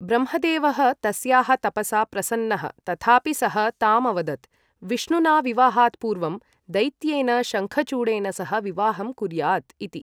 ब्रह्मदेवः तस्याः तपसा प्रसन्नः तथापि सः तामवदत्, विष्णुना विवाहात् पूर्वं दैत्येन शङ्खचूडेन सह विवाहं कुर्याद् इति।